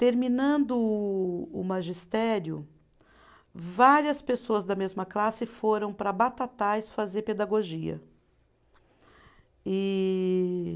Terminando o o magistério, várias pessoas da mesma classe foram para Batatais fazer pedagogia. E